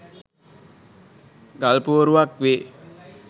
ගල් පුවරුවක් වේ.